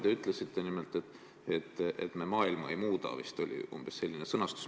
Te ütlesite nimelt, et me maailma ei muuda – vist oli umbes selline sõnastus.